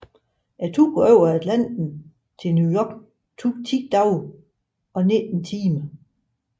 Turen over Atlanten til New York tog 10 dage og 19 timer